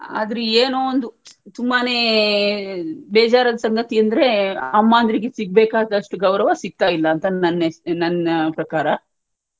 ಆದ್ರೂ ಏನೋ ಒಂದ್ ತುಂಬಾನೇ ಬೇಜಾರದ್ ಸಂಗತಿ ಅಂದ್ರೆ ಅಮ್ಮಂದ್ರಿಗೆ ಸಿಗ್ಬೇಕಾದಸ್ಟು ಗೌರವ ಸಿಕ್ತಾಇಲ್ಲಾ ಅಂತ ನನ್ ನನ್ ಪ್ರಕಾರ.